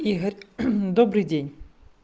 игорь добрый день